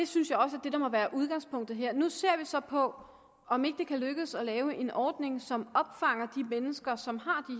synes også at det må være er udgangspunktet her nu ser vi så på om det ikke kan lykkes at lave en ordning som opfanger de mennesker som har